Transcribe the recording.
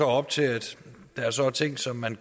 op til at der så er ting som man